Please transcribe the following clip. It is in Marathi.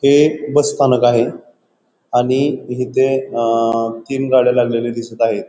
हे बस स्थानक आहे आणि इथे अ तीन गाड्या लागलेल्या दिसत आहेत.